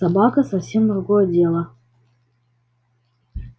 собака совсем другое дело